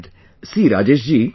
See Rajesh ji...